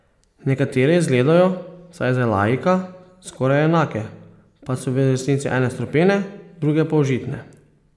Nekatere izgledajo, vsaj za laika, skoraj enake, pa so v resnici ene strupene, druge pa užitne.